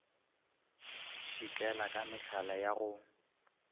šitlela ka mehlala ya go